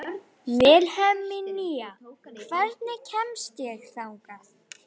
Vilhelmína, hvernig kemst ég þangað?